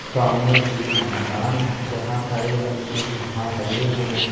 सामने एक मैदान है जहाँ हरे रंग के घास लगे हुए हैं।